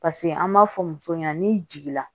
Paseke an b'a fɔ musow ɲɛna n'i jiginna